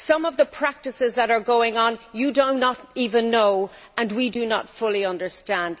Some of the practices that are going on you do not even know and we do not fully understand.